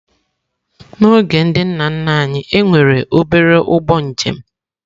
N'oge ndị nna nna anyị, e nwere obere ụgbọ njem.